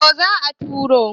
to za a turo